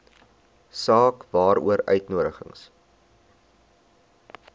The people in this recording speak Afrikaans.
saak waaroor uitnodigings